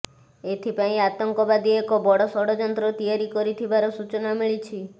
ଏଥିପାଇଁ ଆତଙ୍କବାଦୀ ଏକ ବଡ଼ ଷଡ଼ଯନ୍ତ୍ର ତିଆରି କରିଥିବାର ସୂଚନା ମିଳିଛି